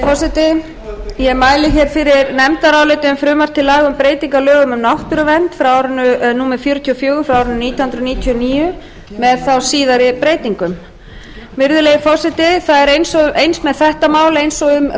forseti ég mæli fyrir nefndaráliti um frumvarp til laga um breytingu á lögum um náttúruvernd númer fjörutíu og fjögur nítján hundruð níutíu og níu með síðari breytingum virðulegi forseti það er eins með þetta mál eins og